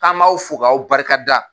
An b'aw fo k'aw barika da.